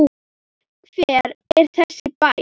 Hver er þessi bær?